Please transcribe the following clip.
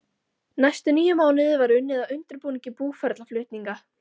Næstu níu mánuði var unnið að undirbúningi búferlaflutninga.